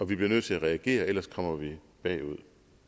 vi bliver nødt til at reagere ellers kommer vi bagud